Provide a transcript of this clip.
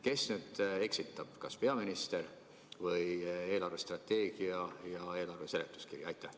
Kes nüüd eksitab, kas peaminister või eelarvestrateegia ja eelarve seletuskiri?